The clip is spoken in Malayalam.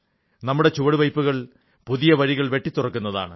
നമ്മുടെ ചുവടുവയ്പ്പുകൾ പുതിയ വഴികൾ വെട്ടിത്തുറക്കുന്നതാണ്